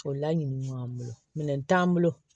O laɲininen b'an bolo minɛn t'an bolo